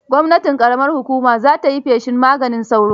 Gwamnatin ƙaramar hukuma za ta yi feshin maganin sauro.